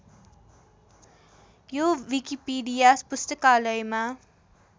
यो विकिपिडिया पुस्तकालयमा